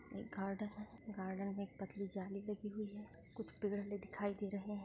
एक गार्डन है गार्डन में एक पतली जाली लगी हुई है कुछ पेड़ दिखाई दे रहे हैं।